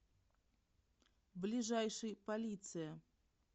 ближайший полиция